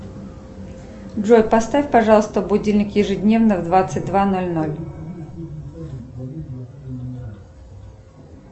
джой поставь пожалуйста будильник ежедневно в двадцать два ноль ноль